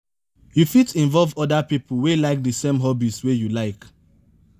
you fit involve oda pipo wey like di same hobbies wey you like